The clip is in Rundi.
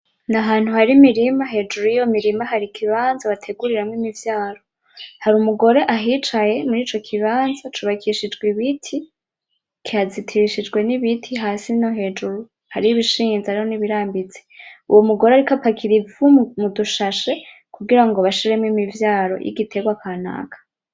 N'ahantu hari imirima hejuru yiyo mirima hari ikibanza bateguriramwo imivyaro hari umugore ahicaye murico kibanza cubakishijwe ibiti , hazitirishijwe n’ibiti hasi no hejuru hari ibishinze hari nibirambitse ,uwomugore ariko apakira ivu mu dushashe kugira ngo bashiremwo imivyaro y'igiterwa kanaka.